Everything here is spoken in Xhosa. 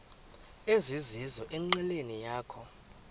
ezizizo enqileni yakho